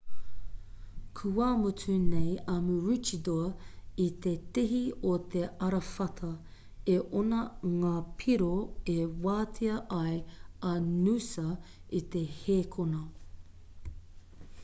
kua mutu nei a maroochydore i te tihi o te arawhata e ono ngā piro e wātea ai a noosa i te hēkona